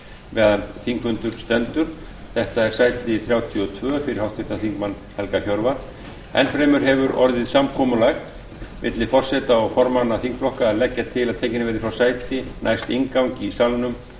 meðan þingfundur stendur þetta er sæti þrjátíu og tvö fyrir háttvirtum þingmanni helga hjörvar enn fremur hefur orðið samkomulag milli forseta og formanna þingflokka að leggja til að tekin verði frá sæti næst inngangi í salnum